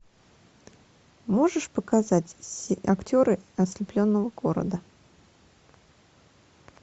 можешь показать актеры ослепленного города